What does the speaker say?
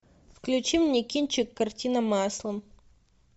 включи мне кинчик картина маслом